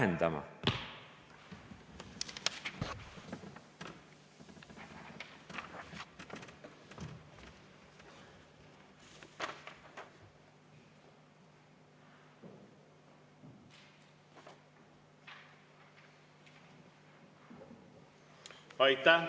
Aitäh!